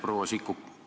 Proua Sikkut!